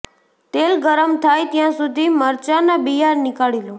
તેલ ગરમ થાય ત્યા સુધી મરચાના બીયા નીકાળી લો